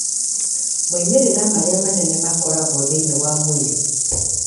Moimĩrĩro marĩa manene makoragwo thĩinĩ wa mwĩrĩ.